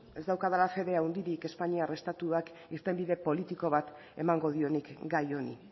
ez daukadala fede handirik espainiar estatuak irtenbide politiko bat emango dionik gai honi